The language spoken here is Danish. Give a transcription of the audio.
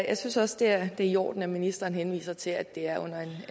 jeg synes det er i orden at ministeren henviser til at det er under en